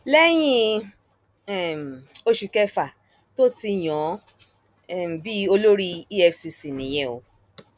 lẹyìn um oṣù kẹfà tó ti yàn án um bíi olórí efcc nìyẹn o